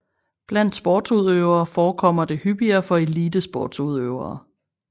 Blandt sportsudøvere forekommer det hyppigere for elitesportsudøvere